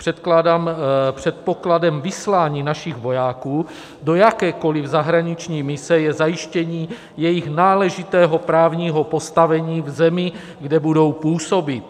Předpokladem vyslání našich vojáků do jakékoliv zahraniční mise je zajištění jejich náležitého právního postavení v zemi, kde budou působit.